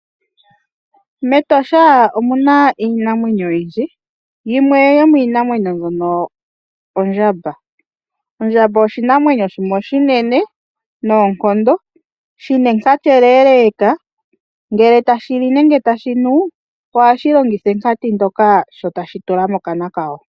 Metosha omuna iinamwenyo oyindji yimwe yomiinamwenyo mbyono ondjamba. Ondjamba oshinamwenyo shimwe oshinene noonkondo shina enkati ele ngele tashi li nenge tashi nu oha shilongitha enkati ndjoka sho tashi tula mokana kasho.